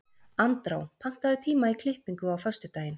Andrá, pantaðu tíma í klippingu á föstudaginn.